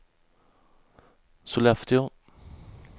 Sollefteå